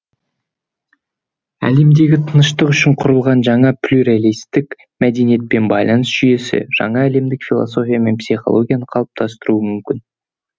әлемдегі тыныштық үшін құрылған жаңа плюралистік мәдениет пен байланыс жүйесі жаңа әлемдік философия мен психологияны қалыптастыруы мүмкін